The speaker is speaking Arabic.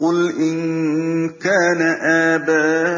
قُلْ إِن كَانَ آبَاؤُكُمْ